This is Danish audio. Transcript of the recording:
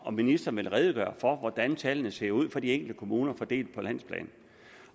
om ministeren ville redegøre for hvordan tallene ser ud for de enkelte kommuner fordelt på landsplan